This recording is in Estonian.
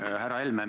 Härra Helme!